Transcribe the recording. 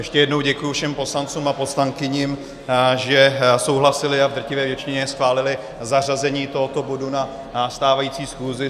Ještě jednou děkuji všem poslancům a poslankyním, že souhlasili a v drtivé většině schválili zařazení tohoto bodu na stávající schůzi.